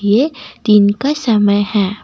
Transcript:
ये दिन का समय है।